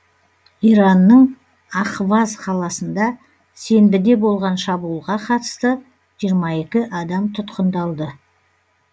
иранның ахваз қаласында сенбіде болған шабуылға қатысты жиырма екі адам тұтқындалды